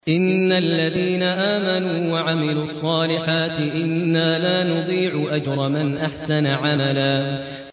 إِنَّ الَّذِينَ آمَنُوا وَعَمِلُوا الصَّالِحَاتِ إِنَّا لَا نُضِيعُ أَجْرَ مَنْ أَحْسَنَ عَمَلًا